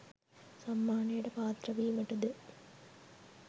සම්මානයට පාත්‍රය වීමට ද